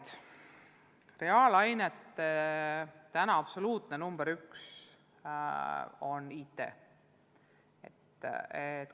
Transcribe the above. Täna on reaalainete absoluutne number üks IT.